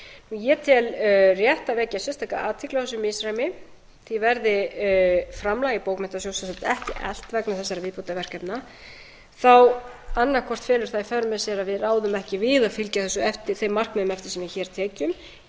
ég tel rétt að vekja sérstaka athygli á þessu misræmi því verði framlag til bókmenntasjóðs ekki eflt vegna þessara viðbótarverkefna þá annaðhvort hefur það í för með sér að við ráðum ekki við að fylgi eftir þeim markmiðum eftir því sem við getum eða